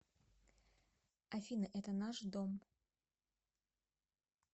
афина это наш дом